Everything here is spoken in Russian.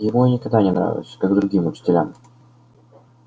ему я никогда не нравился как другим учителям